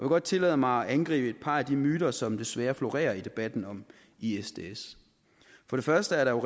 godt tillade mig at angribe et par af de myter som desværre florerer i debatten om isds isds for det første er der